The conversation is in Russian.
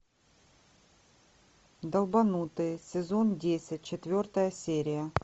долбанутые сезон десять четвертая серия